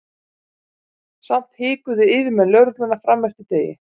Samt hikuðu yfirmenn lögreglunnar fram eftir degi.